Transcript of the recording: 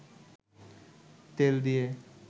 তেল দিয়ে